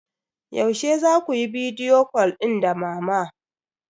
Yaushe za ku yi bidiyo cal din da mama?